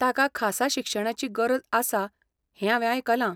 ताका खासा शिक्षणाची गरज आसा हें हांवें आयकलां.